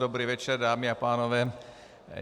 Dobrý večer dámy a pánové.